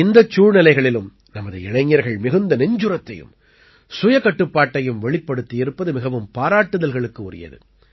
இந்தச் சூழ்நிலைகளிலும் நமது இளைஞர்கள் மிகுந்த நெஞ்சுரத்தையும் சுயகட்டுப்பாட்டையும் வெளிப்படுத்தியிருப்பது மிகவும் பாராட்டுதல்களுக்கு உரியது